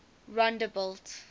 rondebult